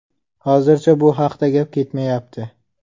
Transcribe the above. Hozircha bu haqda gap ketmayapti.